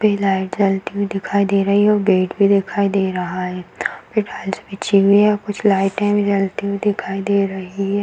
पे लाइट जलती हुई दिखाई दे रही है और गेट भी दिखाई दे रहा है फिर बिछी हुई है कुछ लाइटे भी जलती हुई दिखाई दे रही है |